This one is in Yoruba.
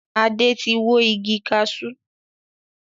Adé tí wó igi kaṣú